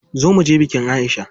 Zo muje bikin Aisha.